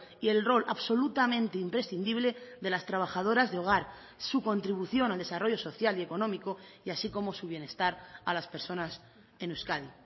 y el rol absolutamente imprescindible de las trabajadoras de hogar su contribución al desarrollo social y económico y así como su bienestar a las personas en euskadi